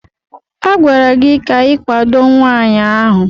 A gwara gị ka ị kwado nwaanyị ahụ!